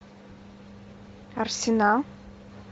арсенал